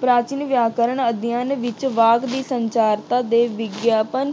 ਪ੍ਰਾਚੀਨ ਵਿਆਕਰਨ ਅਧਿਐਨ ਵਿੱਚ ਵਾਕ ਦੀ ਸੰਚਾਰਤਾ ਦੇ ਵਿਗਿਆਪਨ